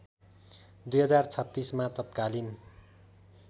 २०३६ मा तत्कालीन